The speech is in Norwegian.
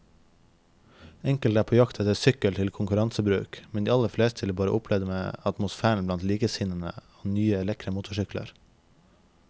Enkelte er på jakt etter sykkel til konkurransebruk, men de aller fleste vil bare oppleve atmosfæren blant likesinnede og nye, lekre motorsykler.